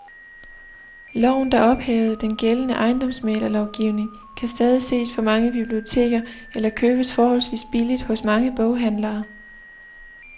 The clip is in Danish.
Loven, der ophævede den gældende ejendomsmæglerlovgivning, kan stadig ses på mange biblioteker eller købes forholdsvis billigt hos mange boghandlere.